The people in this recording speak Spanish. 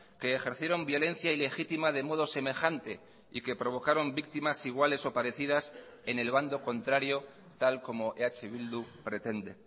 que ejercieron violencia ilegitima de modo semejante y que provocaron víctimas iguales o parecidas en el bando contrario tal como eh bildu pretende